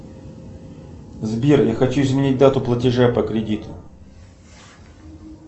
сбер я хочу изменить дату платежа по кредиту